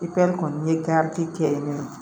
kɔni ye garidi kɛ yen nɔ